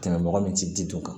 Tɛmɛ mɔgɔ min ti dun kan